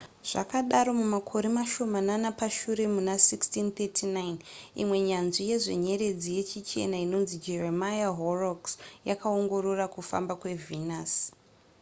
zvadaro mumakore mashomanana pashure muna 1639 imwe nyanzvi yezvenyeredzi yechichena inonzi jeremiah horrocks yakaongorora kufamba kwevenus